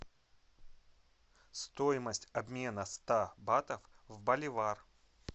стоимость обмена ста батов в боливар